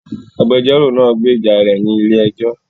Agbẹjọ́rò náà gbèjà rè ní ilé ẹjọ